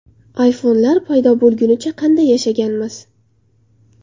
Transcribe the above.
iPhone’lar paydo bo‘lgunicha qanday yashaganmiz?